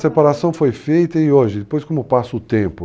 Essa separação foi feita e hoje, depois como passa o tempo...